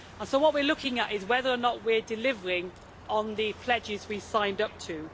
What we are looking at is whether or not we are delivering on the pledges we signed up to.